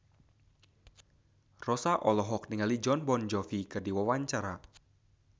Rossa olohok ningali Jon Bon Jovi keur diwawancara